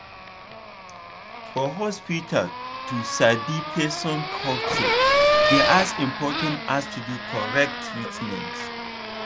for hospital to sabi person culture dey as important as to do correct treatment.